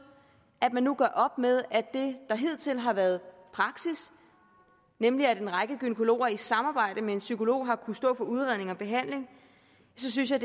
at man nu gør op med det der hidtil har været praksis nemlig at en række gynækologer i samarbejde med en psykolog har kunnet stå for udredning og behandling så synes jeg